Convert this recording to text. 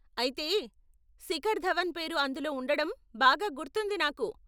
అయితే, శిఖర్ ధవన్ పేరు అందులో ఉండడం బాగా గుర్తుంది నాకు.